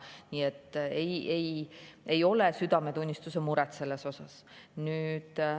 Nii et ei ole südametunnistuse muret selles mõttes.